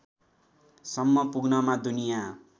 सम्म पुग्नमा दुनिया